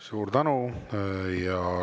Suur tänu!